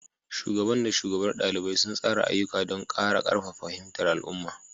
Shugaban da shugabar ɗaliban suna tsara ayyuka don ƙara ƙarfafa fahimtar al'umma.